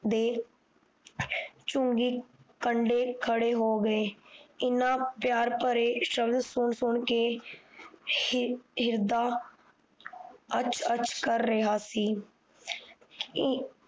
ਦੇ ਚੁੰਗੀ ਕੰਡੇ ਖੜੇ ਹੋ ਗੇ ਇਨ੍ਹਾਂ ਪਿਆਰ ਭਰੇ ਸ਼ਬਦ ਸੁਣ ਸੁਣ ਕ ਹਿਰਦਾ ਕਰ ਰਿਹਾ ਸੀ